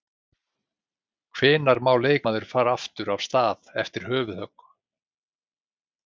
Hvenær má leikmaður fara aftur af stað eftir höfuðhögg?